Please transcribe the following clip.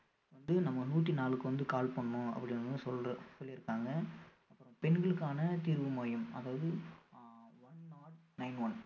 வந்து நம்ம நூத்தி நாலுக்கு வந்து call பண்ணணும் அப்படின்னு சொல்ற சொல்லி இருக்காங்க பெண்களுக்கான தீர்வு மையம் அதாவது ஆஹ் one not nine one